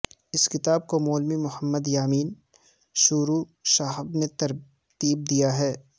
اس کتاب کو مولوی محمد یامین شورو صاحب نے ترتیب دیا ہے